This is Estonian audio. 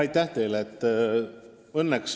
Aitäh!